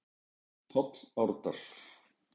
páll árdal